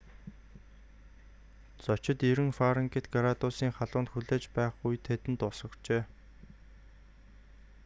зорчигчид 90f градусын халуунд хүлээж байх үед тэдэнд ус өгчээ